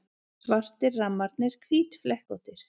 Svartir rammarnir hvítflekkóttir.